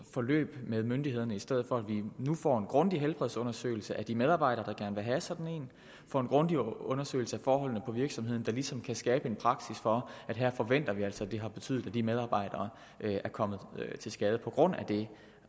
forløb med myndighederne i stedet for at vi nu får en grundig helbredsundersøgelse af de medarbejdere der gerne vil have sådan en får en grundig undersøgelse af forholdene på virksomheden der ligesom kan skabe en praksis for at her forventer vi altså at det har betydet at de medarbejdere er kommet til skade på grund af det